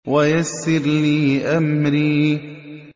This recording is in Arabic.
وَيَسِّرْ لِي أَمْرِي